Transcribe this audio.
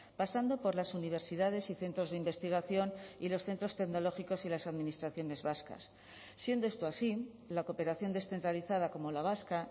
pasando por las universidades y centros de investigación y los centros tecnológicos y las administraciones vascas siendo esto así la cooperación descentralizada como la vasca